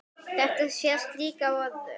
Þetta sést líka á öðru.